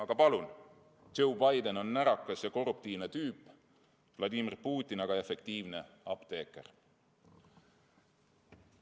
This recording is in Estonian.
Aga palun: Joe Biden on närakas ja korruptiivne tüüp, Vladimir Putin aga efektiivne apteeker.